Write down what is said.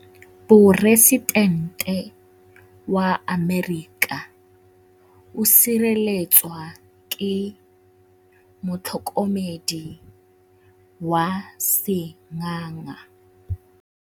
Poresitêntê wa Amerika o sireletswa ke motlhokomedi wa sengaga.